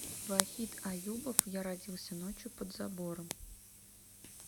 вахид аюбов я родился ночью под забором